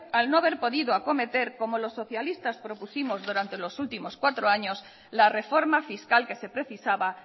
al no haber podido acometer como los socialistas propusimos durantes los últimos cuatro años la reforma fiscal que se precisaba